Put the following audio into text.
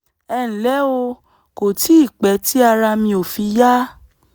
ẹ ǹlẹ́ o kò tíì pẹ́ tí ara mi ò fi yá